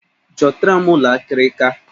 Chọtara m ụlọ akịrịka!